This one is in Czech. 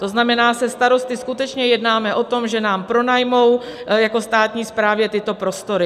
To znamená, se starosty skutečně jednáme o tom, že nám pronajmou jako státní správě tyto prostory.